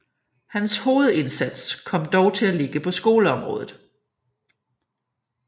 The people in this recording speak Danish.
Hans hovedindsats kom dog til at ligge på skoleområdet